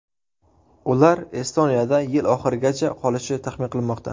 Ular Estoniyada yil oxirigacha qolishi taxmin qilinmoqda.